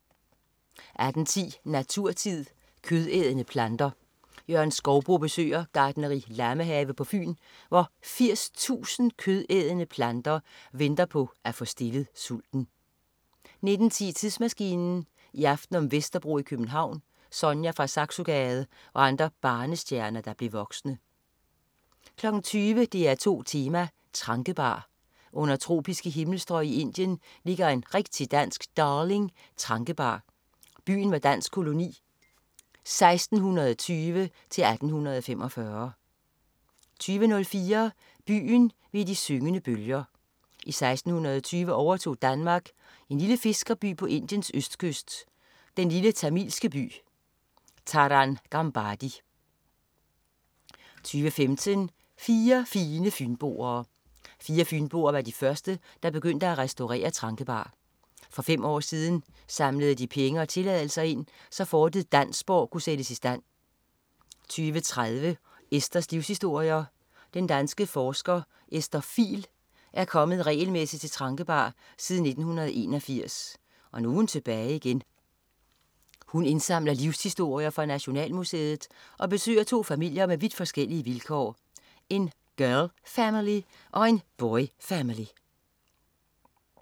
18.10 Naturtid. Kødædende planter. Jørgen Skouboe besøger Gartneri Lammehave på Fyn, hvor 80.000 kødædende planter venter på at få stillet sulten 19.10 Tidsmaskinen. I aften om Vesterbro i København, Sonja fra Saxogade og andre barnestjerner, der blev voksne 20.00 DR2 Tema: Tranquebar. Under tropiske himmelstrøg i Indien ligger en rigtig dansk "darling": Tranquebar. Byen var dansk koloni 1620-1845 20.04 Byen ved de syngende bølger. I 1620 overtog Danmark en lille fiskerby på Indiens østkyst, den lille tamilske by Tarangambadi 20.15 Fire fine fynboer. Fire fynboer var de første, der begyndte at restaurere Tranquebar. For fem år siden samlede de penge og tilladelser ind, så fortet Dansborg kunne sættes i stand 20.30 Esthers livshistorier. Den danske forsker Esther Fihl er kommet regelmæssigt til Tranquebar siden 1981. Nu er hun tilbage igen. Hun indsamler livshistorier for Nationalmuseet og besøger to familier med vidt forskellige vilkår: En "girl-family" og en "boy-family"